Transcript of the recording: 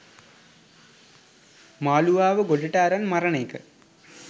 මාලුවාව ගොඩට අරන් මරන එක.